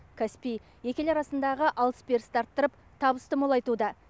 каспий екі ел арасындағы алыс берісті арттырып табысты молайтуда